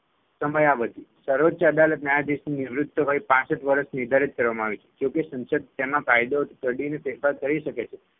સમયાવધિ સર્વોચ્ય અદાલત ન્યાયાધીશની નિવૃત્ત વય પાંસઠ વર્ષ નિર્ધારિત કરવામાં આવી છે જો કે સંસદ તેમાં કાયદો ઘડીને ફેરફાર કરી શકે છે